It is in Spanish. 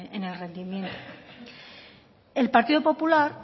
en el rendimiento el partido popular